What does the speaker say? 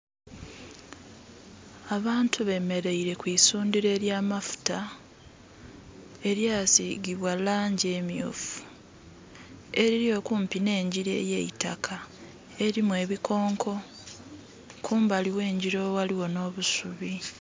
Abantu bemeleire ku isundhiro ery'amafuta erya sigibwa langi emyufu eliri okumpi n'engira eyeitaka erimu ebikonko kumbali ghe ngira oghaligho nh'obusubi